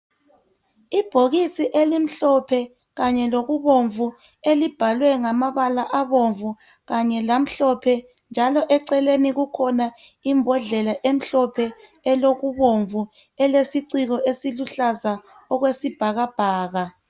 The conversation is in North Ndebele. Ibhokisi elimhlophe kanye lokubomvu elibhalwe ngamabala abomvu kanye lamhlophe njalo eceleni kukhona imbodlela emhlophe elokubomvu elesiciko esiluhlaza okwesibhakabhaka.